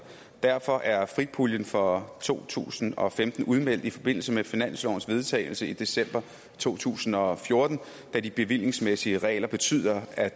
derfor er frig puljen for to tusind og femten udmeldt i forbindelse med finanslovens vedtagelse i december to tusind og fjorten da de bevillingsmæssige regler betyder at